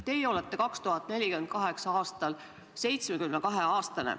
Teie olete 2048. aastal 72-aastane.